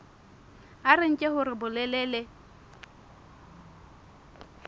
a re nke hore bolelele